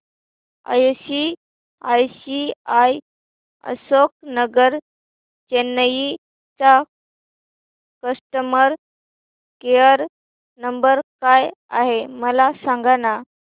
ICICI Ashok Nagar Chennai चा customer care number काय आहे मला सांगाना